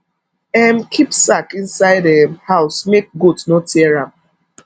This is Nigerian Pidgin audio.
um keep sack inside um house make goat no tear am